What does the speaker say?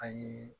A ye